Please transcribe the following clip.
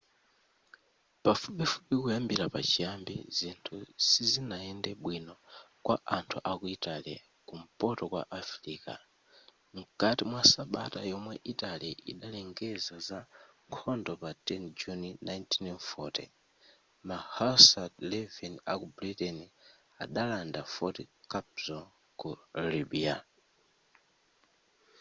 pafupifupi kuyambira pa chiyambi zinthu sizinayende bwino kwa anthu aku italy ku mpoto kwa africa mkati mwa sabata yomwe italy idalengeza za nkhondo pa 10 juni 1940 ma hussar 11 aku britain adalanda fort cappuzo ku libya